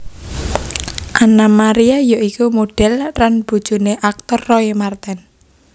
Anna Maria ya iku modhel lan bojoné aktor Roy Marten